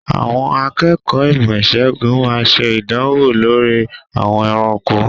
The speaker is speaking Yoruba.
Àwọn akẹ́kọ̀ọ́ ìmọ̀-ìṣègùn máa ń ṣe ìdánwò lórí àwọn ẹranko.